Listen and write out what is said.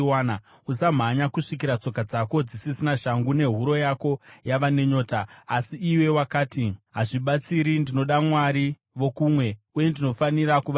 Usamhanya kusvikira tsoka dzako dzisisina shangu nehuro yako yava nenyota. Asi iwe wakati, ‘Hazvibatsiri! Ndinoda vamwari vokumwe, uye ndinofanira kuvatevera.’